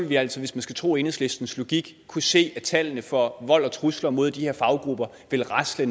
vi altså hvis man skal tro enhedslistens logik kunne se at tallene for vold og trusler mod de her faggrupper vil rasle